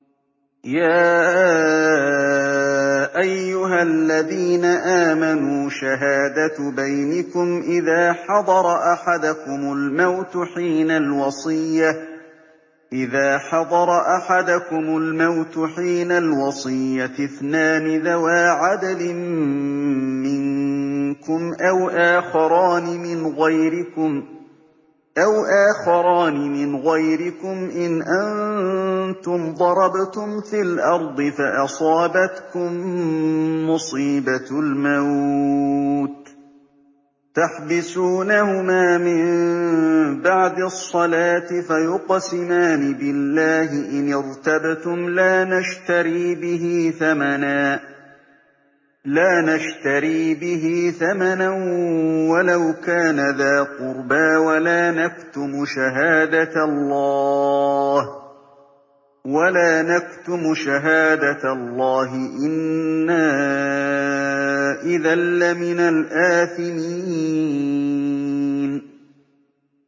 يَا أَيُّهَا الَّذِينَ آمَنُوا شَهَادَةُ بَيْنِكُمْ إِذَا حَضَرَ أَحَدَكُمُ الْمَوْتُ حِينَ الْوَصِيَّةِ اثْنَانِ ذَوَا عَدْلٍ مِّنكُمْ أَوْ آخَرَانِ مِنْ غَيْرِكُمْ إِنْ أَنتُمْ ضَرَبْتُمْ فِي الْأَرْضِ فَأَصَابَتْكُم مُّصِيبَةُ الْمَوْتِ ۚ تَحْبِسُونَهُمَا مِن بَعْدِ الصَّلَاةِ فَيُقْسِمَانِ بِاللَّهِ إِنِ ارْتَبْتُمْ لَا نَشْتَرِي بِهِ ثَمَنًا وَلَوْ كَانَ ذَا قُرْبَىٰ ۙ وَلَا نَكْتُمُ شَهَادَةَ اللَّهِ إِنَّا إِذًا لَّمِنَ الْآثِمِينَ